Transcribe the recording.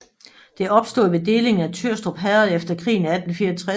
Det opstod ved delingen af Tyrstrup Herred efter krigen i 1864